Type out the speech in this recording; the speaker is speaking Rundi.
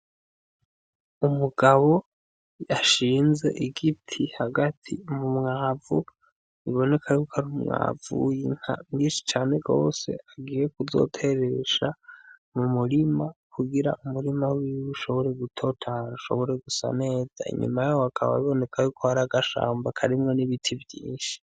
Umugabo ashinze igiti hagati mu mwavu biboneka yuko ari umwavu w'inka mwishi cane gose agiye ku zoteresha mu murima kugira umurima wiwe ushobore gutotahara ushobore gusa neza inyuma yaho hakaba biboneka yuko hari agashamba karimwo n'ibiti vyishi.